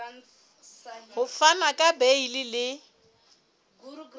ho fana ka beile le